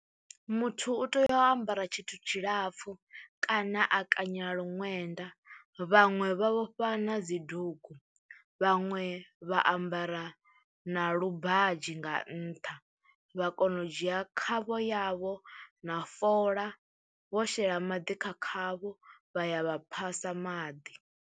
Muthu u tea u ambara tshithu tshilapfhu kana a kanyela ṅwenda, vhaṅwe vha vhofha na dzi dugu, vhaṅwe vha ambara na lubadzhi nga nṱha, vha kona u dzhia khavho yavho na fola vho shela maḓi kha khavho vha ya vha phasa maḓi.